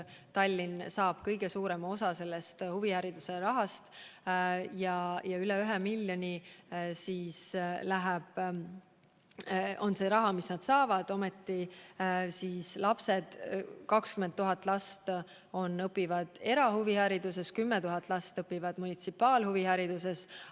Tema saab kõige suurema osa huvihariduse rahast , ometi õpib 20 000 last erahuvikoolides ja 10 000 last munitsipaalhuvikoolides.